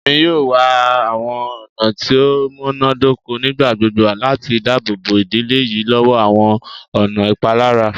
Emi yoo wa awọn ọna ti o munadoko nigbagbogbo lati daabobo idile yii lọwọ awọn ọna ipalara